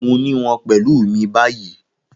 Mo ni wọn pẹlu mi bayi